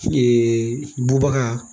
bubaga